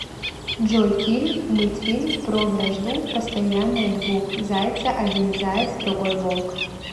джой фильм мультфильм про вражду постоянная двух зайца один заяц другой волк